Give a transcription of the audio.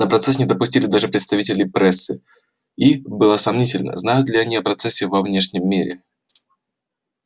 на процесс не допустили даже представителей прессы и было сомнительно знают ли они о процессе во внешнем мире